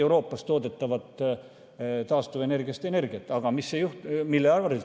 Aga mille arvelt see toimus?